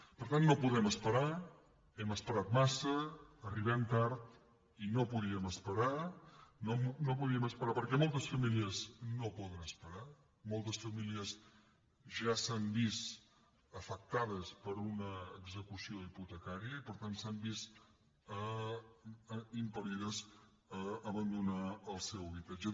per tant no podem esperar hem esperat massa arribem tard i no podíem esperar no podíem esperar perquè moltes famílies no poden esperar moltes famílies ja s’han vist afectades per una execució hipotecària i per tant s’han vist impel·lides a abandonar el seu habitatge